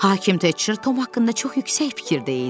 Hakim Teçir Tom haqqında çox yüksək fikirdə idi.